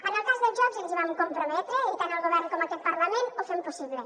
en el cas dels jocs ens hi vam comprometre i tant el govern com aquest parlament ho fem possible